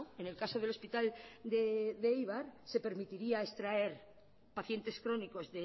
en el caso del hospital de eibar se permitiría extraer pacientes crónicos